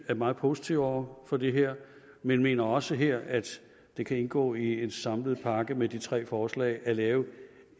er meget positive over for det her men mener også her at det kan indgå i en samlet pakke med de tre forslag at lave